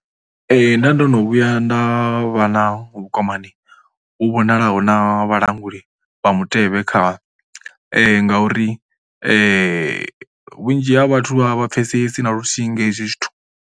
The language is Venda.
Nda ndo no vhuya nda vha na vhukwamani u vhonalaho na vhalanguli vha mutevhe kha ngauri vhunzhi ha vhathu vha vha pfhesesi na luthihi nga hezwi zwithu.